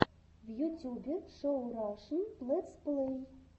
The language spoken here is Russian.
в ютюбе шоу рашн летсплей